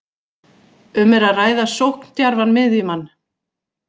Um er að ræða sókndjarfan miðjumann.